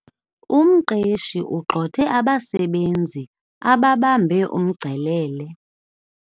Umqeshi ugxothe abasebenzi ababambe umngcelele.